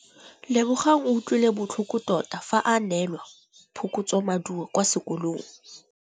Lebogang o utlwile botlhoko tota fa a neelwa phokotsômaduô kwa sekolong.